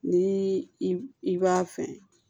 Ni i b'a fɛ